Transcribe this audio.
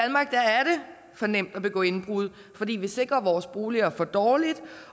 for nemt at begå indbrud fordi vi sikrer vores boliger for dårligt